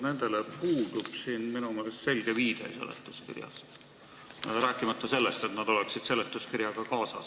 Nendele puudub minu meelest selge viide seletuskirjas, rääkimata sellest, et need oleksid seletuskirjaga kaasas.